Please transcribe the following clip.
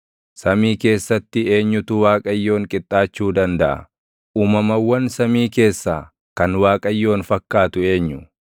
Samii keessatti eenyutu Waaqayyoon qixxaachuu dandaʼa? Uumamawwan samii keessaa kan Waaqayyoon fakkaatu eenyu?